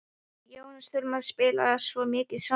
Við Jónas þurftum að spjalla svo mikið saman.